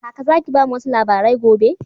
Kaka Zaki bamu wasu labarai gobe.